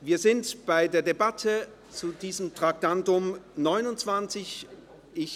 Wir sind bei der Debatte zum Traktandum 29 verblieben.